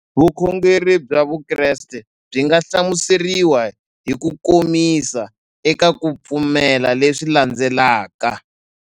Vukhongeri bya Vukreste byi nga hlamuseriwa hi kukomisa eka ku pfumela leswi landzelaka.